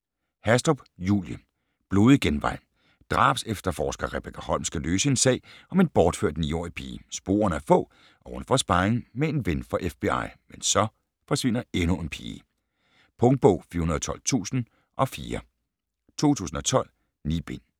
Hastrup, Julie: Blodig genvej Drabsefterforsker Rebekka Holm skal løse en sag om en bortført 9-årig pige. Sporene er få og hun får sparring med en ven fra FBI. Men så forsvinder endnu en pige. Punktbog 412004 2012. 9 bind.